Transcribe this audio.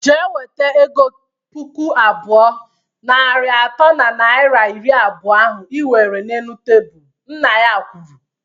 Jee weta ego puku abụọ, narị atọ na naira iri abụọ ahụ iwere n'elu tebụl! Nna ya kwuru